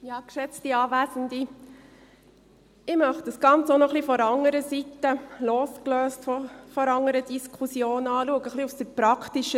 Ich möchte das Ganze auch noch ein bisschen von der praktischen Seite, losgelöst von der anderen Diskussion, anschauen.